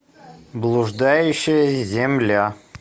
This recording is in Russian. блуждающая земля